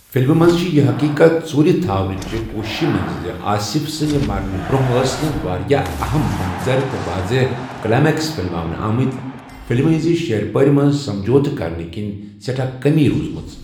فلِمہِ منز چھِ یہِ حٔقیٖقت ژوٗرِ تھاونٕچہ کوٗششہ منٛز، زِ آصف سٕندِ مرنہٕ برٛونٛہہ ٲس نہٕ واریٛاہ اہم منظر تہٕ واضح کلایمکس فلِماونہٕ آمٕتۍ، فِلمہِ ہٕنٛزِ شیر پٲر منٛز سمجھوتہٕ كرنہٕ كِنہِ سیٹھاہ كمی روزمٕژٕ ۔